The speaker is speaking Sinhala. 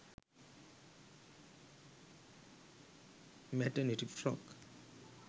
maternity frock